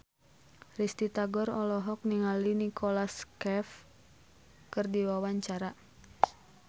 Risty Tagor olohok ningali Nicholas Cafe keur diwawancara